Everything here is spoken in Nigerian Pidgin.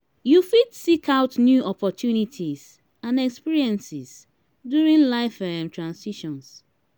you fit seek out new opportunities and experiences during life um transitions.